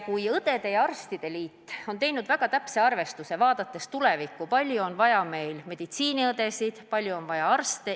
Õdede ja arstide liit on teinud väga täpse arvestuse, vaadates tulevikku, kui palju on vaja meil meditsiiniõdesid, kui palju on vaja arste.